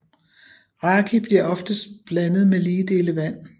Raki bliver oftest blandet med lige dele vand